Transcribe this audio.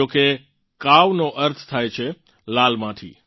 જોકે કાવનો અર્થ થાય છે લાલ માટી